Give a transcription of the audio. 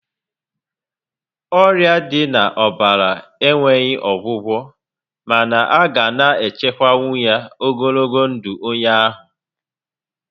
Ọrịa dị na ọbara enweghị ọgwụgwọ mana a ga na echukwanwu ya ogologo ndụ onye ahụ